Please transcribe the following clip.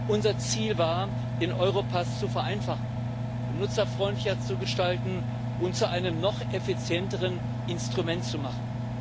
Unser Ziel war, den Europass zu vereinfachen, benutzerfreundlicher zu gestalten und zu einem noch effizienteren Instrument zu machen.